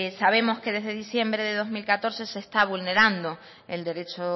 sabemos que desde diciembre de dos mil catorce se está vulnerando el derecho